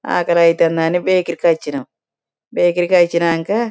ఆకలి అయితంది అని బేకరీ కి వచ్చినం బేకరీ కి వచ్చినాక.